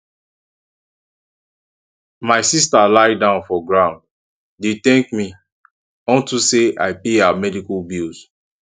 my sister lie down for ground dey dey thank me unto say i pay her medical bills